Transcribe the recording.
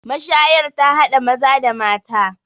mashayar ta hada Maza da mata